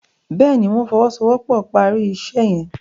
Béèni wón fowosowopo pá rí iṣé yen.